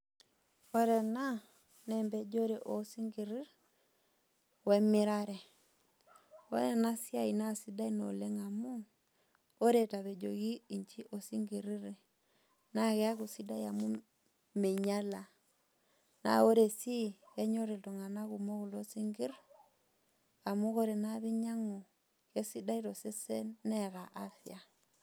Ore ena naa empejore oo isinkirir, we emirare. Ore ena siai naa sidai naa oleng' amu, ore etapejoki isinkirir naa keaku sidai amu meinyala, naa ore sii enyol iltung'ana kulo sinkirir amu ore naa piinya na kesidai tosesen neata afya.